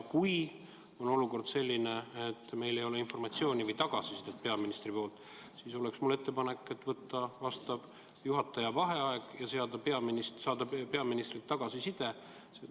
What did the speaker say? Kui olukord on selline, et meil ei ole informatsiooni või tagasisidet peaministrilt, siis on mul ettepanek võtta juhataja vaheaeg ja saada peaministrilt see tagasiside.